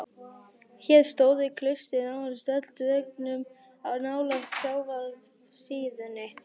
Hér stóðu klaustrin nánast öll á dröngum nálægt sjávarsíðunni